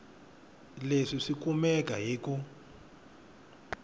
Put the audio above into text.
leswi swi kumeka hi ku